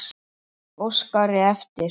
Óskari eftir.